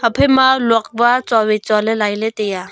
ephai ma lok wa chuowai chualey lailey taiya.